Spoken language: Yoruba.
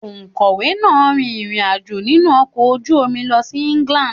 Òkọ̀wé náà rin ìrìn-àjò nínú ọkọ̀ ojú omi lọ sí England.